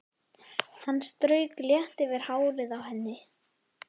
Hann strauk létt yfir hárið á henni.